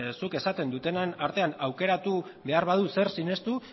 zuk esaten dutenaren artean aukeratu behar badut zer sinestu